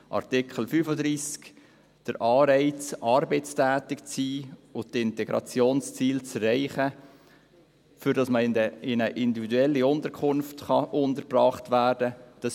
Artikel 35, der Anreiz, arbeitstätig zu sein und die Integrationsziele zu erreichen, damit man in einer individuellen Unterkunft untergebracht werden kann: